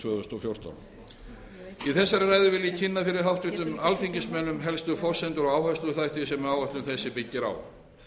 tvö þúsund og fjórtán í þessari ræðu vil ég kynna fyrir háttvirtum alþingismönnum helstu forsendur og áhersluþætti sem áætlun þessi byggir á